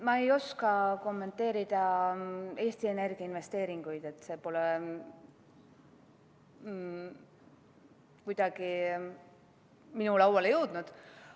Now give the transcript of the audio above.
Ma ei oska kommenteerida Eesti Energia investeeringuid, need andmed pole kuidagi minu lauale jõudnud.